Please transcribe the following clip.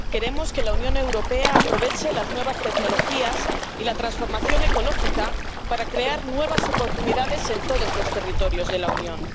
Queremos que la Unión Europea aproveche las nuevas tecnologías y la transformación ecológica para crear nuevas oportunidades en todos los territorios de la Unión.